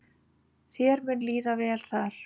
Þér mun líða vel þar.